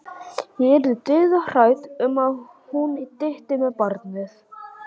Ég yrði dauðhrædd um að hún dytti með barnið.